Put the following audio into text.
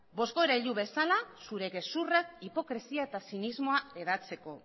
bozgorailu bezala zure gezurrak hipokresia eta zinismoa hedatzeko